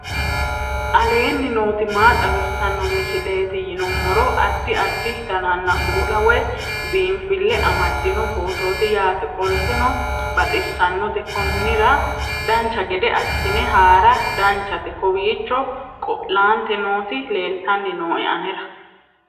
aleenni nooti maa xawisanno misileeti yinummoro addi addi dananna kuula woy biinsille amaddino footooti yaate qoltenno baxissannote konnira dancha gede assine haara danchate kowiicho qo'lante nooti leltanni nooe anera